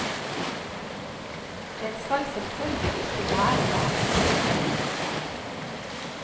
Den skal selvfølgelig ikke være der.